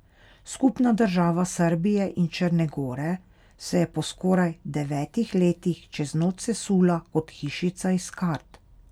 Skupna država Srbije in Črne gore se je po skoraj devetdesetih letih čez noč sesula kot hišica iz kart.